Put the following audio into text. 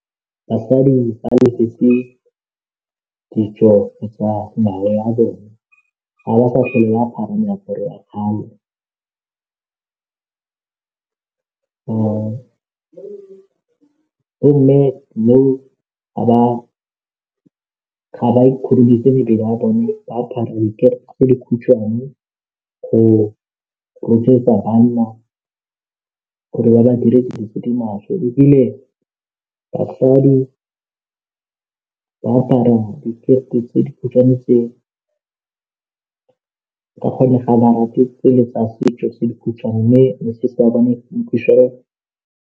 Basadi ba lebetse ditso tsa ngwao ya bone ga ba sa tlhole ba apara meaparo ya kgale bo mme now ba ga ba ikhurumetse mebele ya bone ba apare tse dikhutshwane go rotloetsa banna gore ba ba dire dilo tse di maswe ebile basadi ba apara dikete tse dikhutshwane tse ka gonne ga ba rate tsele tsa setso tse dikhutshwane mme .